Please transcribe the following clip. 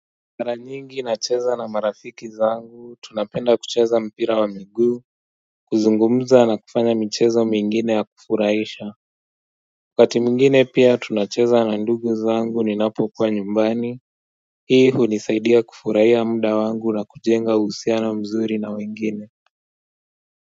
Mara nyingi nacheza na marafiki zangu tunapenda kucheza mpira wa miguu kuzungumza na kufanya michezo mingine ya kufurahisha wakati mwingine pia tunacheza na ndugu zangu ninapo kuwa nyumbani hii hunisaidia kufurahia muda wangu na kujenga uhusiano mzuri na wengine.